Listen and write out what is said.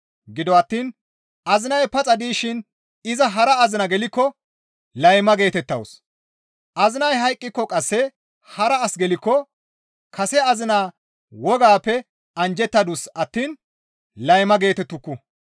Gido attiin azinay paxa dishin iza hara azina gelikko layma geetettawus; azinay hayqqiko qasse hara as gelikko kase azinaa wogaappe anjjettadus attiin, «Layma» geetettuku.